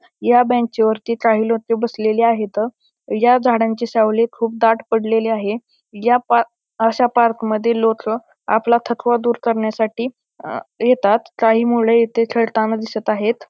ह्या बेंच वरती काही लोके बसलेली आहेत ह्या झाडांची सावली खुप दाट पडलेली आहे ह्या पा अश्या पार्क मध्ये लोक आपला थकवा दूर करण्यासाठी अ येतात काही मुले इथे खेळताना दिसत आहेत.